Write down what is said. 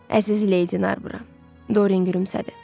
Əziz Lady Narbora, Dorian gülümsədi.